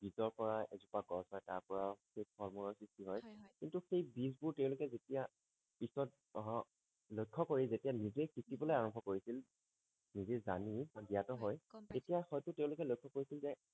বীজৰ পৰা এজোপা গছ হয় তাৰ পৰাও সেই ফল মূলৰ সৃষ্টি হয় হয় কিন্তু সেই বীজ বোৰ তেওঁলোকে যেতিয়া পিছত আহ লক্ষ্য কৰে যেতিয়া নিজেই সিচি বলে আৰাম্ভ কৰিছিল নিজেই জানি বা জ্ঞাত হয় গম পাইছো তেতিয়া হয়টো তেওঁলোকে লক্ষ্য কৰিছিল যে